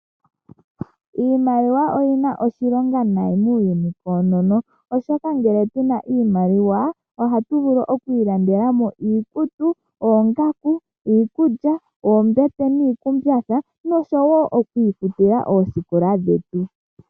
Iimaliwa oyina oshilonga nayi muuyuni koonono, oshoka ngele tuna oshimaliwa ohatu vulu oku ilandela mo iikutu, oongaku, iikulya, oombete niikumbatha noshowo okwiifutila oosikola dhetu.